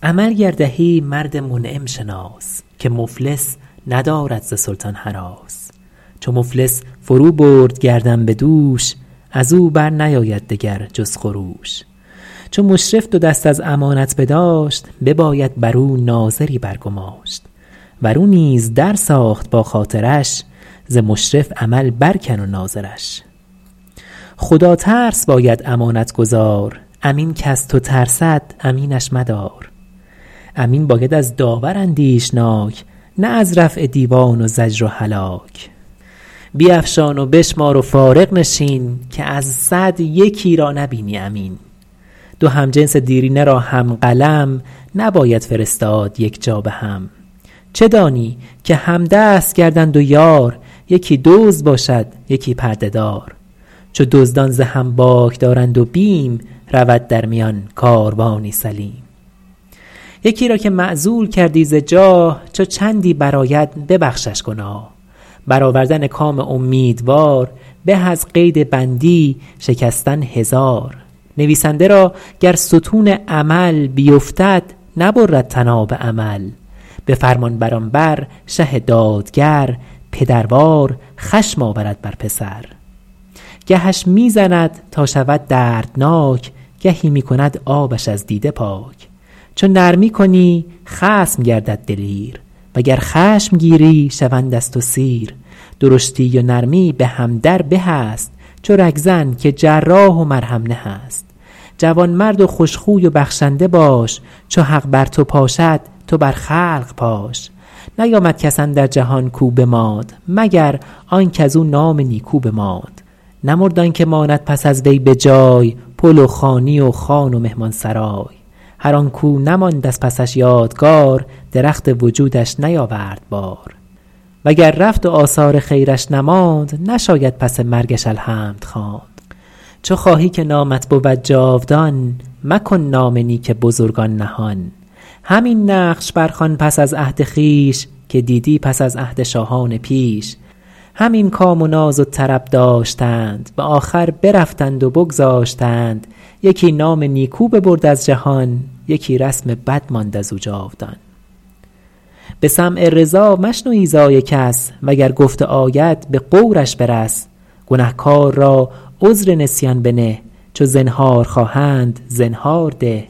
شنیدم که در وقت نزع روان به هرمز چنین گفت نوشیروان که خاطر نگهدار درویش باش نه در بند آسایش خویش باش نیاساید اندر دیار تو کس چو آسایش خویش جویی و بس نیاید به نزدیک دانا پسند شبان خفته و گرگ درد گوسفند برو پاس درویش محتاج دار که شاه از رعیت بود تاجدار رعیت چو بیخند و سلطان درخت درخت ای پسر باشد از بیخ سخت مکن تا توانی دل خلق ریش وگر می کنی می کنی بیخ خویش اگر جاده ای بایدت مستقیم ره پارسایان امید است و بیم طبیعت شود مرد را بخردی به امید نیکی و بیم بدی گر این هر دو در پادشه یافتی در اقلیم و ملکش بنه یافتی که بخشایش آرد بر امیدوار به امید بخشایش کردگار گزند کسانش نیاید پسند که ترسد که در ملکش آید گزند وگر در سرشت وی این خوی نیست در آن کشور آسودگی بوی نیست اگر پای بندی رضا پیش گیر وگر یک سواری سر خویش گیر فراخی در آن مرز و کشور مخواه که دلتنگ بینی رعیت ز شاه ز مستکبران دلاور بترس از آن کاو نترسد ز داور بترس دگر کشور آباد بیند به خواب که دارد دل اهل کشور خراب خرابی و بدنامی آید ز جور رسد پیش بین این سخن را به غور رعیت نشاید به بیداد کشت که مر سلطنت را پناهند و پشت مراعات دهقان کن از بهر خویش که مزدور خوش دل کند کار بیش مروت نباشد بدی با کسی کز او نیکویی دیده باشی بسی شنیدم که خسرو به شیرویه گفت در آن دم که چشمش ز دیدن بخفت بر آن باش تا هرچه نیت کنی نظر در صلاح رعیت کنی الا تا نپیچی سر از عدل و رای که مردم ز دستت نپیچند پای گریزد رعیت ز بیدادگر کند نام زشتش به گیتی سمر بسی بر نیاید که بنیاد خود بکند آن که بنهاد بنیاد بد خرابی کند مرد شمشیر زن نه چندان که دود دل طفل و زن چراغی که بیوه زنی برفروخت بسی دیده باشی که شهری بسوخت از آن بهره ورتر در آفاق کیست که در ملکرانی به انصاف زیست چو نوبت رسد زین جهان غربتش ترحم فرستند بر تربتش بد و نیک مردم چو می بگذرند همان به که نامت به نیکی برند خداترس را بر رعیت گمار که معمار ملک است پرهیزگار بد اندیش توست آن و خون خوار خلق که نفع تو جوید در آزار خلق ریاست به دست کسانی خطاست که از دستشان دست ها بر خداست نکوکارپرور نبیند بدی چو بد پروری خصم خون خودی مکافات موذی به مالش مکن که بیخش برآورد باید ز بن مکن صبر بر عامل ظلم دوست که از فربهی بایدش کند پوست سر گرگ باید هم اول برید نه چون گوسفندان مردم درید چه خوش گفت بازارگانی اسیر چو گردش گرفتند دزدان به تیر چو مردانگی آید از رهزنان چه مردان لشکر چه خیل زنان شهنشه که بازارگان را بخست در خیر بر شهر و لشکر ببست کی آن جا دگر هوشمندان روند چو آوازه رسم بد بشنوند نکو بایدت نام و نیکی قبول نکو دار بازارگان و رسول بزرگان مسافر به جان پرورند که نام نکویی به عالم برند تبه گردد آن مملکت عن قریب کز او خاطر آزرده آید غریب غریب آشنا باش و سیاح دوست که سیاح جلاب نام نکوست نکو دار ضیف و مسافر عزیز وز آسیبشان بر حذر باش نیز ز بیگانه پرهیز کردن نکوست که دشمن توان بود در زی دوست غریبی که پر فتنه باشد سرش میازار و بیرون کن از کشورش تو گر خشم بر وی نگیری رواست که خود خوی بد دشمنش در قفاست وگر پارسی باشدش زاد و بوم به صنعاش مفرست و سقلاب و روم هم آن جا امانش مده تا به چاشت نشاید بلا بر دگر کس گماشت که گویند برگشته باد آن زمین کز او مردم آیند بیرون چنین قدیمان خود را بیفزای قدر که هرگز نیاید ز پرورده غدر چو خدمتگزاریت گردد کهن حق سالیانش فرامش مکن گر او را هرم دست خدمت ببست تو را بر کرم همچنان دست هست شنیدم که شاپور دم در کشید چو خسرو به رسمش قلم در کشید چو شد حالش از بی نوایی تباه نبشت این حکایت به نزدیک شاه چو بذل تو کردم جوانی خویش به هنگام پیری مرانم ز پیش عمل گر دهی مرد منعم شناس که مفلس ندارد ز سلطان هراس چو مفلس فرو برد گردن به دوش از او بر نیاید دگر جز خروش چو مشرف دو دست از امانت بداشت بباید بر او ناظری بر گماشت ور او نیز در ساخت با خاطرش ز مشرف عمل بر کن و ناظرش خدا ترس باید امانت گزار امین کز تو ترسد امینش مدار امین باید از داور اندیشناک نه از رفع دیوان و زجر و هلاک بیفشان و بشمار و فارغ نشین که از صد یکی را نبینی امین دو همجنس دیرینه را هم قلم نباید فرستاد یک جا به هم چه دانی که همدست گردند و یار یکی دزد باشد یکی پرده دار چو دزدان ز هم باک دارند و بیم رود در میان کاروانی سلیم یکی را که معزول کردی ز جاه چو چندی برآید ببخشش گناه بر آوردن کام امیدوار به از قید بندی شکستن هزار نویسنده را گر ستون عمل بیفتد نبرد طناب امل به فرمانبران بر شه دادگر پدروار خشم آورد بر پسر گهش می زند تا شود دردناک گهی می کند آبش از دیده پاک چو نرمی کنی خصم گردد دلیر وگر خشم گیری شوند از تو سیر درشتی و نرمی به هم در به است چو رگ زن که جراح و مرهم نه است جوان مرد و خوش خوی و بخشنده باش چو حق بر تو پاشد تو بر خلق پاش نیامد کس اندر جهان کاو بماند مگر آن کز او نام نیکو بماند نمرد آن که ماند پس از وی به جای پل و خانی و خان و مهمان سرای هر آن کاو نماند از پسش یادگار درخت وجودش نیاورد بار وگر رفت و آثار خیرش نماند نشاید پس مرگش الحمد خواند چو خواهی که نامت بود جاودان مکن نام نیک بزرگان نهان همین نقش بر خوان پس از عهد خویش که دیدی پس از عهد شاهان پیش همین کام و ناز و طرب داشتند به آخر برفتند و بگذاشتند یکی نام نیکو ببرد از جهان یکی رسم بد ماند از او جاودان به سمع رضا مشنو ایذای کس وگر گفته آید به غورش برس گنهکار را عذر نسیان بنه چو زنهار خواهند زنهار ده